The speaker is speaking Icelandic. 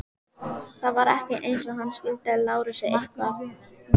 Það var ekki eins og hann skuldaði Lárusi eitthvað.